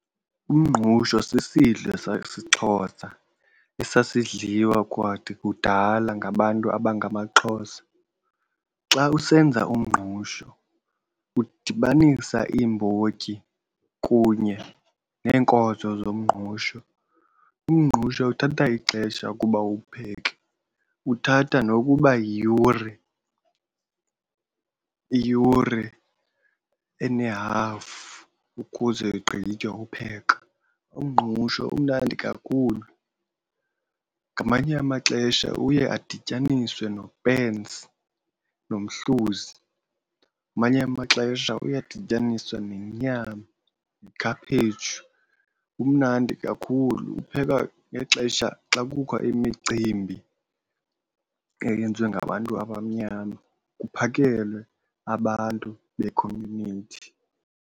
Umngqusho sisidlo sesiXhosa esasidliwa kwakude kudala ngabantu abangamaXhosa. Xa usenza umngqusho udibanisa iimbotyi kunye neenkozo zomngqusho. Umngqusho uthatha ixesha ukuba uwupheke, uthatha nokuba yiyure iiyure enehafu ukuze ugqitywe upheka. Umngqusho umnandi kakhulu, ngamanye amaxesha uye adityaniswe nopensi nomhluzi. Ngamanye amaxesha uyadityaniswe nenyama nekhaphetshu. Umnandi kakhulu uphekwa ngexesha xa kukho imicimbi eyenziwe ngabantu abamnyama kuphakelwe abantu bekhomyunithi.